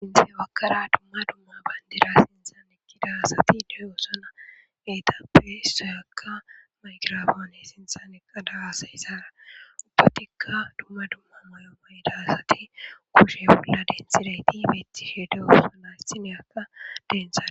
duge baggara dumma dumma bandira sinthan eqqida asati de7oosona eetappe issoykka maygirafoone sinthan eqqada haasayizaara ubbatikka dumma dumma mayo mayida asati kushe bolla denthidayti beetishe de7oosona issiniyakka denthe.